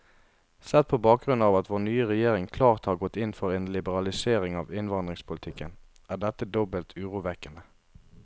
Sett på bakgrunn av at vår nye regjering klart har gått inn for en liberalisering av innvandringspolitikken, er dette dobbelt urovekkende.